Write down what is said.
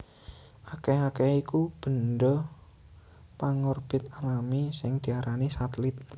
Akèh akèhé iku bendha pangorbit alami sing diarani satelit